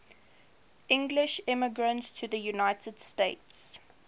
english immigrants to the united states